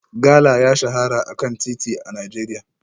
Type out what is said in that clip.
Gala ya shahara a kan titi a Najeriya